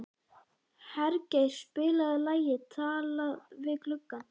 Hergeir, spilaðu lagið „Talað við gluggann“.